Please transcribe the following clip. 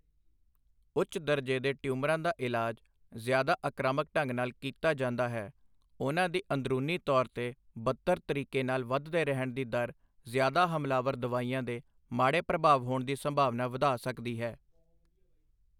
ਉੱਚ ਦਰਜੇ ਦੇ ਟਿਊਮਰਾਂ ਦਾ ਇਲਾਜ ਜ਼ਿਆਦਾ ਆਕ੍ਰਾਮਕ ਢੰਗ ਨਾਲ ਕੀਤਾ ਜਾਂਦਾ ਹੈ, ਉਹਨਾਂ ਦੀ ਅੰਦਰੂਨੀ ਤੌਰ 'ਤੇ ਬਦਤਰ ਤਰੀਕੇ ਨਾਲ ਵੱਧਦੇ ਰਹਿਣ ਦੀ ਦਰ ਜ਼ਿਆਦਾ ਹਮਲਾਵਰ ਦਵਾਈਆਂ ਦੇ ਮਾੜੇ ਪ੍ਰਭਾਵ ਹੋਣ ਦੀ ਸੰਭਾਵਨਾ ਵਧਾ ਸਕਦੀ ਹੈ।